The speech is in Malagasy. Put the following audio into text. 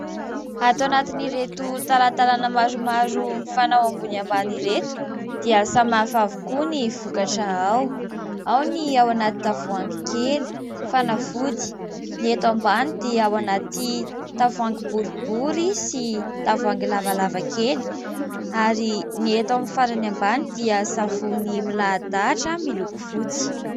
Ato anatin'ireto talantalana maromaro mifanao ambony ambany ireto dia samy hafa avokoa ny vokatra ao : ao ny ao anaty tavoahangy kely, fanafody, ny eto ambany dia ao anaty tavoahangy boribory sy tavoahangy lavalavakely ary ny eto amin'ny farany ambany dia savony milahadahatra miloko fotsy.